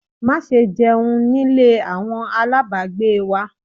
Má ṣe jẹun nílé àwọn aláàbágbé wa!